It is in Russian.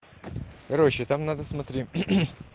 короче там надо смотри